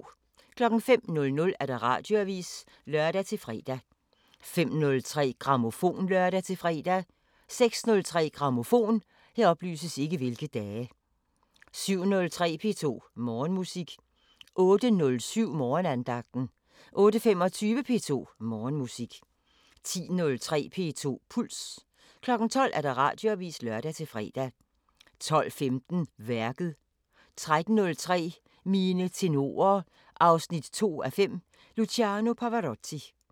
05:00: Radioavisen (lør-fre) 05:03: Grammofon (lør-fre) 06:03: Grammofon 07:03: P2 Morgenmusik 08:07: Morgenandagten 08:25: P2 Morgenmusik 10:03: P2 Puls 12:00: Radioavisen (lør-fre) 12:15: Værket 13:03: Mine tenorer 2:5 – Luciano Pavarotti